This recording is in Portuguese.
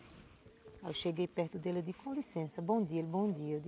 Aí eu cheguei perto dele, eu disse, com licença, bom dia, ele, bom dia.